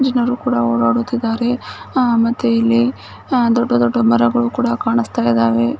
ಜನಗಳು ಕೂಡ ಓಡಾಡುತ್ತಾಯಿದ್ದಾರೆ ಅ ಮತ್ತೆ ಇಲ್ಲಿ ಅ ದೊಡ್ಡ ದೊಡ್ಡ ಮರಗಳು ಕೂಡ ಕಾಣಿಸ್ತಾಇದವೆ.